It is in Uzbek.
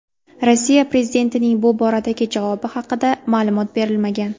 Rossiya prezidentining bu boradagi javobi haqida ma’lumot berilmagan.